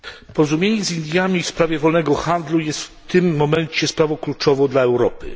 Porozumienie z Indiami w sprawie wolnego handlu jest w tym momencie sprawą kluczową dla Europy.